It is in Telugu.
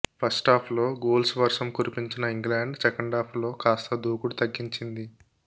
ఫస్టాఫ్లో గోల్స్ వర్షం కురిపించిన ఇంగ్లండ్ సెకండాఫ్లో కాస్త దూకుడు తగ్గించింది